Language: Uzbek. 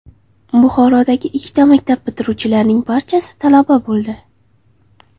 Buxorodagi ikkita maktab bitiruvchilarining barchasi talaba bo‘ldi.